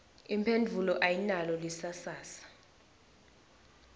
imphendvulo ayinalo lisasasa